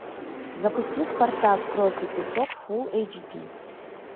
запусти спартак кровь и песок фул эйч ди